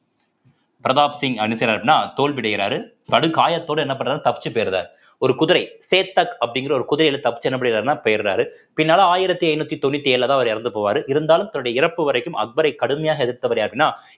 பிரதாப் சிங் தோல்வி அடைகிறாரு படுகாயத்தோட என்ன பண்றாரு தப்பிச்சு போயிடறாரு ஒரு குதிரை சேட்டக் அப்படிங்கிற ஒரு குதிரையில தப்பிச்சு என்ன பண்ணிடறாருன்னா போயிடறாரு பின்னால ஆயிரத்தி ஐந்நூத்தி தொண்ணூத்தி ஏழுலதான் அவர் இறந்து போவாரு இருந்தாலும் தன்னுடைய இறப்பு வரைக்கும் அக்பரை கடுமையாக எதிர்த்தவர் யாருன்னா